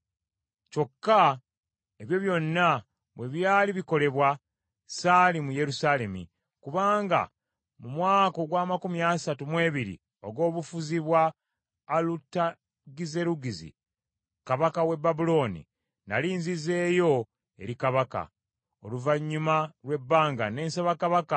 Kyokka ebyo byonna bwe byali bikolebwa, ssaali mu Yerusaalemi, kubanga mu mwaka ogw’amakumi asatu mu ebiri ogw’obufuzi bwa Alutagizerugizi kabaka w’e Babulooni, nnali nzizeeyo eri kabaka. Oluvannyuma lw’ebbanga, ne nsaba kabaka,